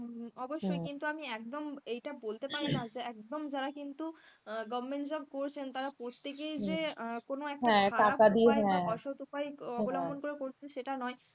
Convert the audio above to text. অবশ্যই কিন্তু আমি একদম এটা বলতে পারবো না যে একদম যারা কিন্তু government job করছেন তারা প্রত্যেকেই যে কোন একটা অসত উপায় অবলম্বন করে সেটা নয়,